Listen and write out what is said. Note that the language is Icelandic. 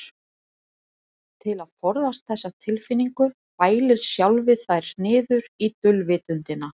Til að forðast þessa tilfinningu bælir sjálfið þær niður í dulvitundina.